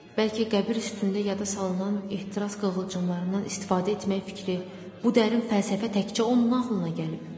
Bəlkə qəbir üstündə yada salınan ehtiras qığılcımlarından istifadə etmək fikri bu dərin fəlsəfə təkcə onun ağlına gəlib?